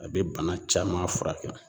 A be bana caman furakɛ